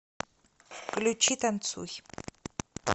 включи танцуй